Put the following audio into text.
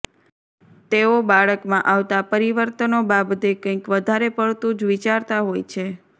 તેઓ બાળકમાં આવતા પરિવર્તનો બાબતે કંઈક વધારે પડતું જ વિચારતા હોય છે